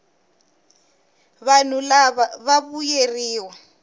vanhu lava va vuyeriwa